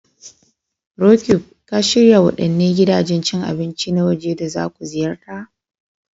Roqeeb, ka shirya waɗanne gidajen cin abinci na waje da za ku ziyarta?